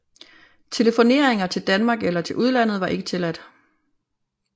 Telefoneringer til Danmark eller til udlandet var ikke tilladt